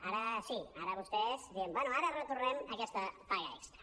ara sí ara vostès diuen no ara retornem aquesta paga extra